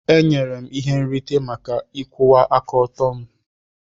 E nyere m ihe nrite maka ịkwụwa aka ọtọ m.